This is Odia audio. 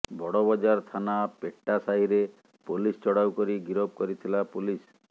ବଡ଼ବଜାର ଥାନା ପେଟା ସାହିରେ ପୋଲିସ ଚଢ଼ାଉ କରି ଗିରଫ କରିଥିଲା ପୋଲିସ